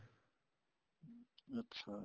ਅੱਛਾ